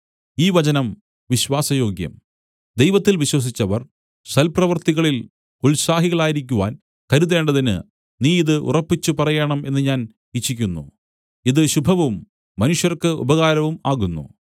ഈ വചനം വിശ്വാസയോഗ്യം ദൈവത്തിൽ വിശ്വസിച്ചവർ സൽപ്രവൃത്തികളിൽ ഉത്സാഹികളായിരിക്കുവാൻ കരുതേണ്ടതിന് നീ ഇത് ഉറപ്പിച്ചു പറയേണം എന്ന് ഞാൻ ഇച്ഛിക്കുന്നു ഇത് ശുഭവും മനുഷ്യർക്കു് ഉപകാരവും ആകുന്നു